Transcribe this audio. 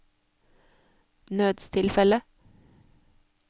nødstilfelle